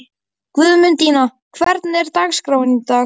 Guðmundína, hvernig er dagskráin í dag?